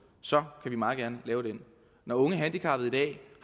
så vil vi meget gerne lave den når unge handicappede i dag